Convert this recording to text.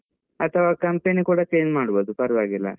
ಅಥವಾ company ಕೂಡ change ಮಾಡ್ಬಹುದು ಪರವಾಗಿಲ್ಲ.